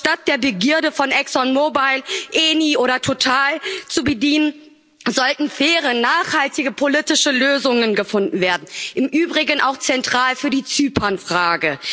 Doch statt der Begierde von Exxon Mobile, ENI oder Total nachzugeben, sollten faire, nachhaltige politische Lösungen gefunden werden im Übrigen auch zentral für die Zypernfrage.